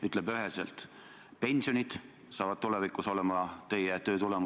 Jah, tõepoolest, juhtunu on kahetsusväärseks õppetunniks kõikidele osapooltele.